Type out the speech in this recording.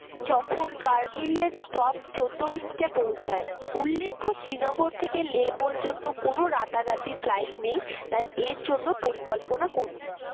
যখন কারগিল এর stop চৌদ্দ মিনিটে পৌঁছায় উল্লেখ্য শ্রীনগর থেকে লে পর্যন্ত কোন রাতারাতি flight নেই তাই এর জন্য পরিকল্পনা করুন।